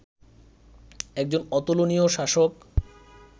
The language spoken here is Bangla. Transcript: একজন অতুলনীয় শাসক